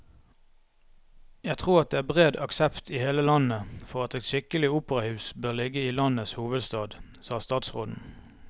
Jeg tror det er bred aksept i hele landet for at et skikkelig operahus bør ligge i landets hovedstad, sa statsråden.